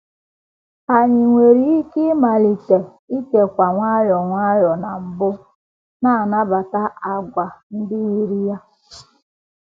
Anyị nwere ike ịmalite — ikekwe nwayọọ nwayọọ na mbụ — na - anabata àgwà ndị yiri ya.